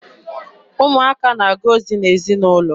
Ụmụaka na-aga ozi n'ezinaụlọ.